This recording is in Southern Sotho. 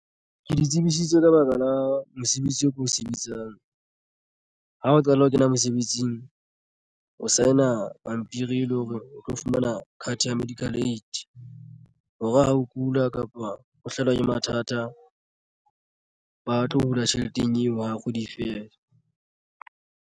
Ke di tsebisitswe ka baka la mosebetsi oo ko o sebetsang ha o qala ho kena mosebetsing o sign-a pampiri e leng hore o tlo fumana ka card ya medical aid hore ha o kula kapa o hlahelwa ke mathata ba tlo hula tjheleteng eo ha kgwedi e fela.